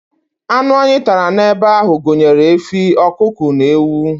Anụ anyị tara n'ebe ahụ gụnyere efi, ọkụkọ na ewu.